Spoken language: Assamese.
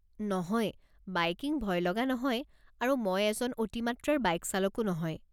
নহয়, বাইকিং ভয় লগা নহয় আৰু মই এজন অতি মাত্ৰাৰ বাইক চালকো নহয়।